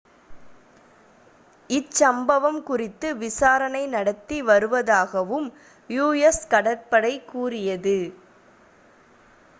இச்சம்பவம் குறித்து விசாரணை நடத்தி வருவதாகவும் us கடற்படை கூறியது